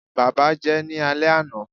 baba jẹ ní ale ana